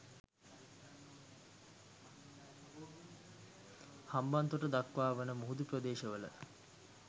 හම්බන්තොට දක්වා වන මුහුදු ප්‍රදේශවල